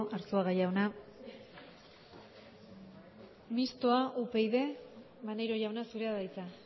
arzuaga jauna mistoa upyd maneiro jauna zurea da hitza